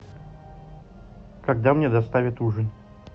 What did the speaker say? когда мне доставят ужин